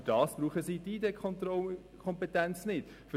Aber dafür brauchen sie keine Kompetenz für Identitätskontrollen.